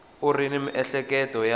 u ri ni miehleketo ya